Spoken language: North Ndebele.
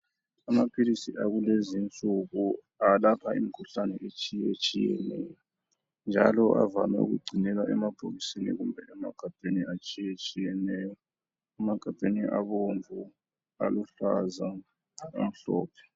Amaphilisi akulezinsuku alapha imikhuhlane etshiyetshiyeneyo njalo avame ukugcinelwa emabhokisini kumbe emagabheni atshiyetshiyenayo. Emagabheni abomvu, aluhlaza, amhlophe.